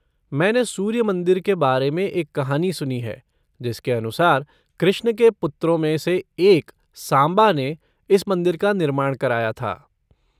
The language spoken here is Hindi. मैंने सूर्य मंदिर के बारे में एक कहानी सुनी है जिसके अनुसार कृष्ण के पुत्रों में से एक सांबा ने इस मंदिर का निर्माण कराया था।